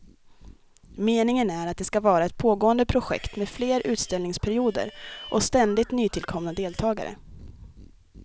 Meningen är att det ska vara ett pågående projekt med fler utställningsperioder och ständigt nytillkomna deltagare.